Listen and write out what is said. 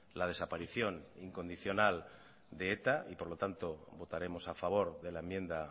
la desaparición incondicional de eta por lo tanto votaremos a favor de la enmienda